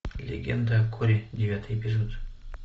легенда о корре девятый эпизод